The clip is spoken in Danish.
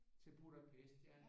Til Budapest ja